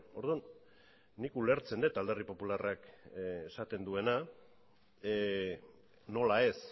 orduan nik ulertzen dut alderdi popularrak esaten duena nola ez